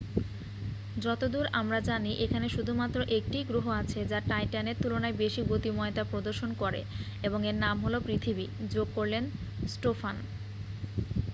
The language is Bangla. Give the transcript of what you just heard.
"যতদূর আমরা জানি এখানে শুধুমাত্র একটিই গ্রহ আছে যা টাইট্যানের তুলনায় বেশি গতিময়তা প্রদর্শন করে এবং এর নাম হল পৃথিবী,""যোগ করলেন স্টোফান।